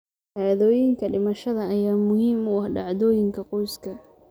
Shahaadooyinka dhimashada ayaa muhiim u ah dhacdooyinka qoyska.